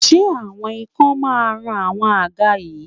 ṣe awọn ikan ma run awọn àga yìí